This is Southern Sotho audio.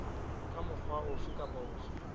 ka mokgwa ofe kapa ofe